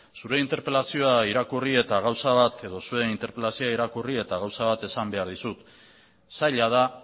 zure interpelazioa irakurri eta gauza bat edo zuen interpelazioa irakurri eta gauza bat esan behar dizut zaila da